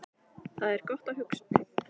Þar er gott að hugsa